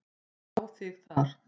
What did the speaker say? Ég á þig þar.